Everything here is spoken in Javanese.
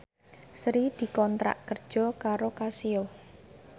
Sri dikontrak kerja karo Casio